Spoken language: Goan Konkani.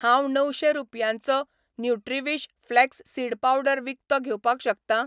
हांव णवशें रुपयांचो न्युट्रीविश फ्लॅक्स सीड पावडर विकतो घेवपाक शकतां?